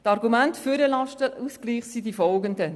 Die Argumente für den Lastenausgleich sind Folgende: